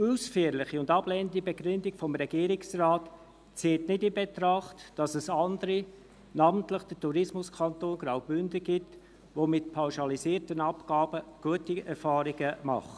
Die ausführliche und ablehnende Begründung des Regierungsrates zieht nicht in Betracht, dass es andere gibt – namentlich der Tourismuskanton Graubünden –, die mit pauschalisierten Abgaben gute Erfahrungen machen.